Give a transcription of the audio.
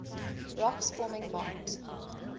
rocks forming mont